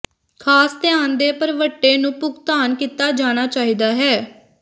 ਖਾਸ ਧਿਆਨ ਦੇ ਭਰਵੱਟੇ ਨੂੰ ਭੁਗਤਾਨ ਕੀਤਾ ਜਾਣਾ ਚਾਹੀਦਾ ਹੈ